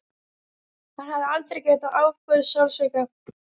Hann hafði aldrei getað afborið sársauka.